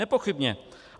Nepochybně.